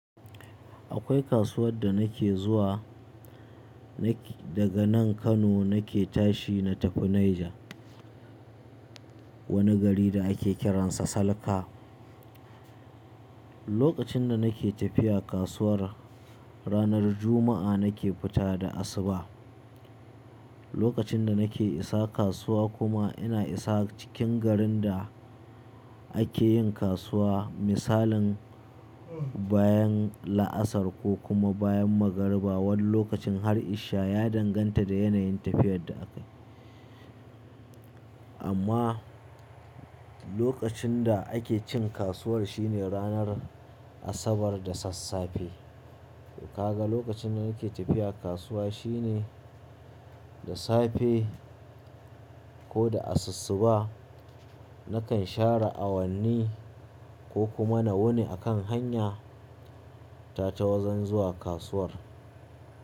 Akwai kasuwar da nake zuwa. Daga nan Kano nake tashi na tafi Niger, wani gari da ake kiransa Salka. Lokacin da nake tafiya kasuwar, ranar Juma'a nake fita da asuba. Lokacin da nake isa kasuwa kuma ina isa cikin garin da ake yin kasuwa. Misalin bayan la'asar ko kuma bayan magariba wani lokacin har isha ya danganta da yanayin tafiyar da akayi. Amma lokacin da ake cin kasuwar shine ranar Asabar da sassafe. To kaga lokacin da nake tafiya kasuwa shine da safe ko da asussuba. Na kan share awanni ko kuma na wuni a kan hanyata ta wajen zuwa kasuwar.